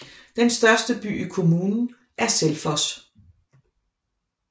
Den største by i kommunen er Selfoss